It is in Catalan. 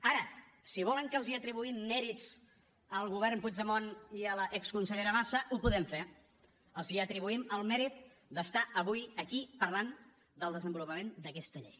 ara si volen que els atribuïm mèrits al govern puigdemont i a l’exconsellera bassa ho podem fer els atribuïm el mèrit d’estar avui aquí parlant del desenvolupament d’aquesta llei